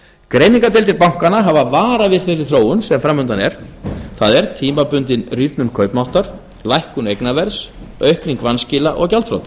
greiningardeildir bankanna hafa varað við þeirri þróun sem framundan er það er tímabundin rýrnun kaupmáttar lækkun eignaverðs aukning vanskila og gjaldþrota